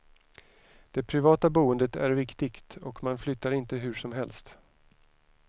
Det privata boendet är viktigt och man flyttar inte hur som helst.